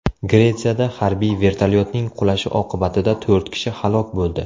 Gretsiyada harbiy vertolyotning qulashi oqibatida to‘rt kishi halok bo‘ldi.